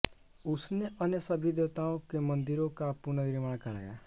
उसने अन्य सभी देवताओं के मंदिरों का पुनर्निर्माण कराया